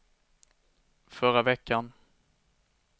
förra veckan